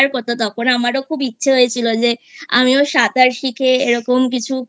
করতো তখন আমারও খুব ইচ্ছে হয়েছিল যে আমিও সাঁতার শিখে এরকম কিছু